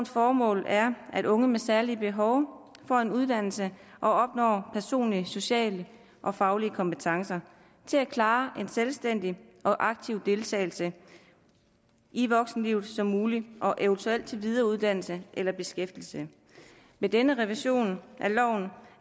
formål er at unge med særlige behov får en uddannelse og opnår personlige sociale og faglige kompetencer til at klare en så selvstændig og aktiv deltagelse i voksenlivet som muligt og eventuelt til videreuddannelse eller beskæftigelse med denne revision af loven